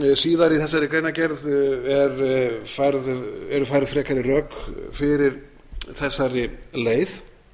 síðar í þessari greinargerð eru færð frekari rök fyrir þessari leið